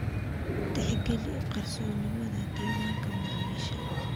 Tixgeli qarsoodinimada diiwaanka macaamiisha.